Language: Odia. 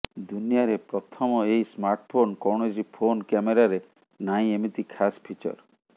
ଦୁନିଆରେ ପ୍ରଥମ ଏହି ସ୍ମାର୍ଟଫୋନ୍ କୌଣସି ଫୋନ କ୍ୟାମେରାରେ ନାହିଁ ଏମିତି ଖାସ୍ ଫିଚର